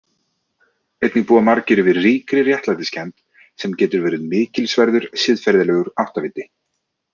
Einnig búa margir yfir ríkri réttlætiskennd sem getur verið mikilsverður siðferðilegur áttaviti.